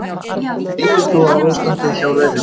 Lítum þá á ástandið hjá rauðhærðum.